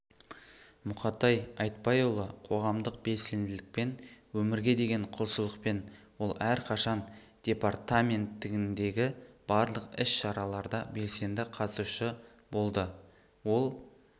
мұқатай айтбайұлы қоғамдық белсенділікпен өмірге деген құлшылықпен ол әрқашан департаментіндегі барлық іс-шараларда белсенді қатысушы болды ол